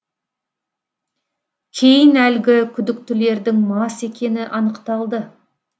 кейін әлгі күдіктілердің мас екені анықталды